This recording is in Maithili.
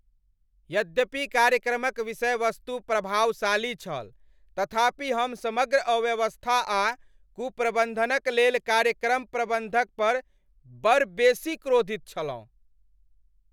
यद्यपि कार्यक्रमक विषयवस्तु प्रभावशाली छल तथापि हम समग्र अव्यवस्था आ कुप्रबन्धनक लेल कार्यक्रम प्रबन्धक पर बड़ बेसी क्रोधित छलहुँ।